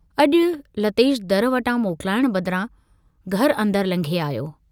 अजु लतेश दर वटां मोकलाइण बदिरां घर अंदर लंघे आयो।